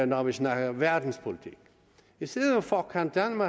når vi snakker om verdenspolitik i stedet for kan